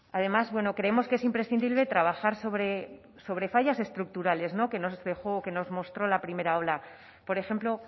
además bueno creemos que es imprescindible trabajar sobre fallos estructurales no que nos mostró la primera ola por ejemplo